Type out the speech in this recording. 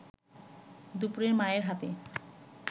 দুপুরে মায়ের হাতে